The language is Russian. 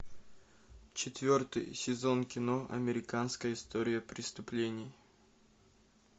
четвертый сезон кино американская история преступлений